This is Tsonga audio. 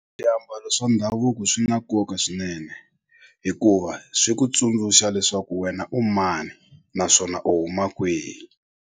Swiambalo swa ndhavuko swi na nkoka swinene hikuva swi ku tsundzuxa leswaku wena u mani naswona u huma kwihi.